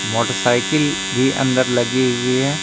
Motorcycle भी अंदर लगी हुई है।